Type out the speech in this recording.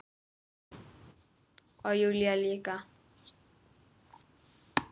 Og Júlía líka.